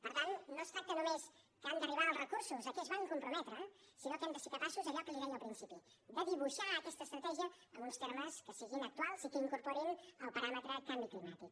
per tant no es tracta només que han d’arribar els recursos a què es van comprometre sinó que hem de ser capaços d’allò que li deia al principi de dibuixar aquesta estratègia en uns termes que siguin actuals i que incorporin el paràmetre canvi climàtic